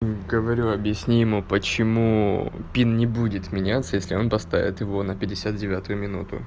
говорю объясни ему почему пин не будет меняться если он поставит его на пятьдесят девятую минуту